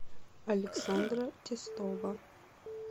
александра тестова